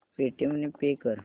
Paytm ने pay कर